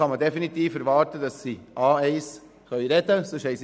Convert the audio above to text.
Dann kann man definitiv erwarten, dass sie das Sprachniveau A1 erfüllen.